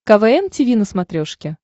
квн тиви на смотрешке